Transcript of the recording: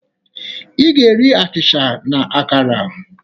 Ị gá-eri achịcha na akara.